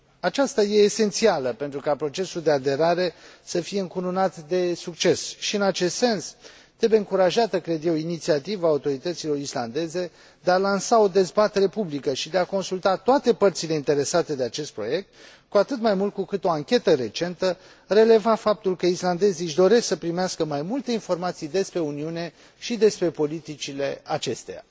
Aceasta este esențială pentru ca procesul de aderare să fie încununat de succes și, în acest sens, trebuie încurajată, cred eu, inițiativa autorităților islandeze de a lansa o dezbatere publică și de a consulta toate părțile interesate de acest proiect, cu atât mai mult cu cât o anchetă recentă releva faptul că islandezii își doresc să primească mai multe informații despre Uniune și despre politicile acesteia.